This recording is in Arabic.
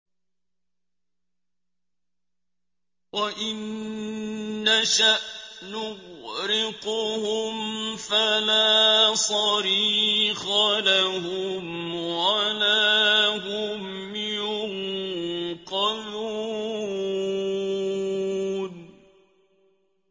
وَإِن نَّشَأْ نُغْرِقْهُمْ فَلَا صَرِيخَ لَهُمْ وَلَا هُمْ يُنقَذُونَ